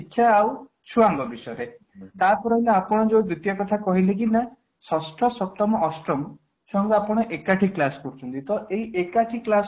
ଶିକ୍ଷା ଆଉ ଛୁଆ ଙ୍କ ବିଷୟରେ ତାପରେ ନା ଆପଣ ଯେ ଦ୍ଵିତୀୟ କଥା କହିଲେ କି ମୁଁ ଷଷ୍ଠ, ସପ୍ତମ, ଅଷ୍ଟମ ସବୁ ଆପଣ ଏକାଠି class କରୁଛନ୍ତି ତ ଏଇ ଏକାଠି class କରିବା